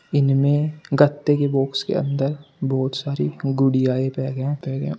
इनमें गत्ते की बॉक्स के अंदर बहुत सारी गुड़िया --